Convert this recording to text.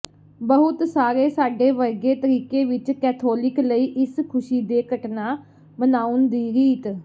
ਬਹੁਤ ਸਾਰੇ ਸਾਡੇ ਵਰਗੇ ਤਰੀਕੇ ਵਿੱਚ ਕੈਥੋਲਿਕ ਲਈ ਇਸ ਖੁਸ਼ੀ ਦੇ ਘਟਨਾ ਮਨਾਉਣ ਦੀ ਰੀਤ